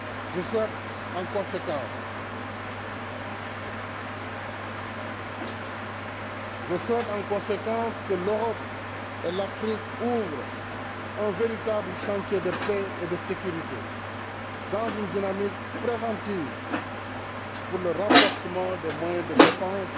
Je souhaite en conséquence que l'Europe et l'Afrique ouvrent un véritable chantier de paix et de sécurité dans une dynamique préventive pour le renforcement des moyens de défense,